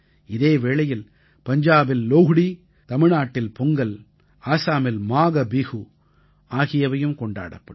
இதே வேளையில் பஞ்சாபில் லோஹ்டீ தமிழ்நாட்டில் பொங்கல் ஆஸாமில் மாகபிஹூ ஆகியவையும் கொண்டாடப்படும்